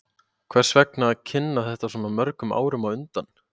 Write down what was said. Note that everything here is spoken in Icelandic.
Hvers vegna að kynna þetta svona mörgum árum á undan?